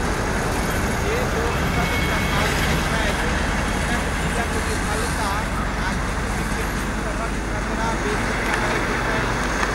जे लोकसब प्रभावित छथि हुनक दिलक विफलता आ किछु विकृतिसभक खतरा बेसी रहैत छै।